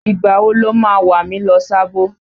Ìgbà wo lo ma wà mí lọ Sábó?